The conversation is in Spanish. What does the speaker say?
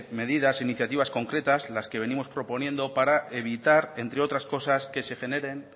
medidas iniciativas concretas en las que venimos proponiendo para evitar entre otras cosas que se generen